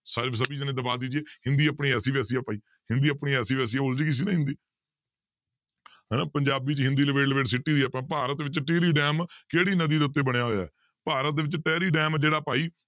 ਸ~ ਸਭੀ ਦੇਣੇ ਦਬਾ ਦੀਜੀਏ ਹਿੰਦੀ ਆਪਣੀ ਐਸੀ ਵੈਸੀ ਹੈ ਭਾਈ ਹਿੰਦੀ ਆਪਣੀ ਐਸੀ ਵੈਸੀ ਆਉਂਦੀ ਨੀ ਸੀ ਨਾ ਹਿੰਦੀ ਹਨਾ ਪੰਜਾਬੀ 'ਚ ਹਿੰਦੀ ਲਬੇੜ ਲਬੇੜ ਸਿੱਟੀ ਦੀ ਆਪਾਂ ਭਾਰਤ ਵਿੱਚ ਟੀਰੀ ਡੈਮ ਕਿਹੜੀ ਨਦੀ ਦੇ ਉੱਤੇ ਬਣਿਆ ਹੋਇਆ ਹੈ ਭਾਰਤ ਦੇ ਵਿੱਚ ਟਹਿਰੀ ਡੈਮ ਜਿਹੜਾ ਭਾਈ